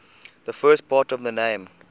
the first part of the name